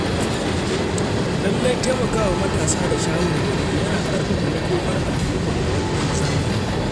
Lallai taimakawa matasa da shawarwari yana ƙarfafa makomar al’umma a wannan zamani.